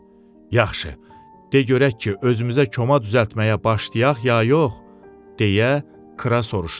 "Yaxşı, de görək ki, özümüzə koma düzəltməyə başlayaq ya yox?" deyə Kra soruşdu.